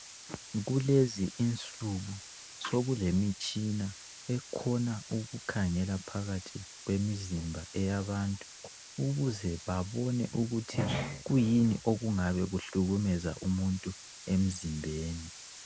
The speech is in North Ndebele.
Kulezinsuku sokulemitshina ekhona ukukhangela phakathi kwemizimba yabantu ukuze babone ukuthi kuyini okungabe kuhlukumeza umuntu emzimbeni.